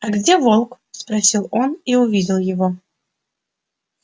а где волк спросил он и увидел его